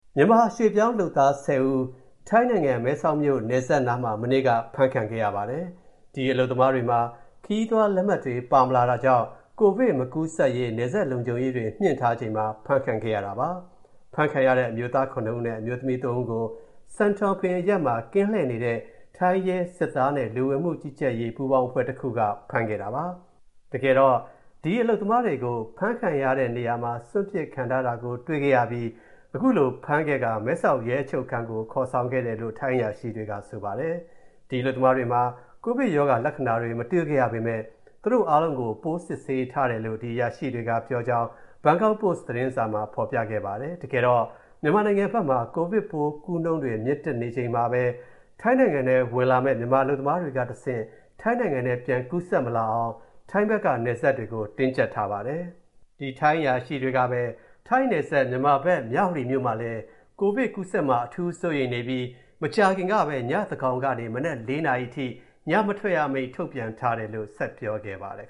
မြန်မာရွှေ့ပြောင်းလုပ်သား ၁၀ ဦး ထိုင်းနိုင်ငံ မဲဆောက်မြို. နယ်စပ်နားမှာ မနေ့က ဖမ်းခံခဲ့ရပါတယ်။ ဒီအလုပ်သမားတွေမှာ ခရီးသွားလက်မှတ်တွေ ပါမလာတာကြောင့် ကိုဗစ်မကူးစက်ရေး နယ်စပ်လံုံခြုံရေးတွေ မြှင့်တင်ထားချိန်မှာ ဖမ်းခံခဲ့ရတာပါ။ ဖမ်းခံရတဲ့ အမျိုးသား ၇ ဦးနဲ့ အမျိုးသမီး ၃ ဦးကို Santonpin အရပ်မှာ ကင်းလှည့်နေတဲ့ ရဲ၊ စစ်သားနဲ့ လူဝင်မူကြီးကြပ်ရေးပူးပေါင်းအဖွဲ့တစ်ခုက ဖမ်းလိုက်တာပါ။ ဒီအလုပ်သမားတွေကို ဒီဖမ်းခံရတဲ့နေရာမှာ စွန့်ပစ်ခံထားခဲ့ရတာကို တွေ့ရှိခဲ့ပြီး အခုလို ဖမ်းခဲ့ကာ၊ မဲဆောက်ရဲအချုပ်ခန်းကိုခေါ်ဆောင်ခဲ့တယ်လို့ ထိုင်းအရာရှိတွေက ဆိုပါတယ်။ ဒီအလုပ်သမားတွေမှာ ကိုဗစ်ရောဂါလက္ခဏာတွေ မတွေ့ခဲ့ရပေမဲ့၊ သူတို့အားလုံးကို ပိုးစစ်ဆေးထားတယ်လို့ ဒီအရာရှိတွေကပြောကြောင်း ဘန်ကောက်ပို့စ် သတင်းစာမှာ ဖော်ပြခဲ့ပါတယ်။ တကယ်တော့ မြန်မာနိုင်ငံဘက်မှာ ကိုဗစ်ပိုးကူးနှုန်းတွေမြင့်တက်နေချိန်မှာ ထိုင်းနိုင်ငံထဲဝင်လာမယ့် မြန်မာအလုပ်သမားတွေကတဆင့် ထိုင်းနိုင်ငံထဲပြန်ကူးစက်မလာအောင် ထိုင်းဖက်က နယ်စပ်တွေကို တင်းကြပ်ထားပါတယ်။ ထိုင်းနယ်စပ် မြန်မာဘက် မြဝတီမှာလည်း ကိုဗစ်ကူးစက်မှာကို အထူးစိုးရိမ်နေပြီး၊ မကြာခင်ကပဲ ညသန်းကောင်ကနေ မနက် ၄ နာရီအထိ ညမထွက်ရအမိန့်ထုတ်ပြန်ထားတယ်လို့ ထိုင်းအရာရှိတွေက ဆက်ပြောခဲ့ပါတယ်